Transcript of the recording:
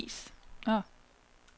vis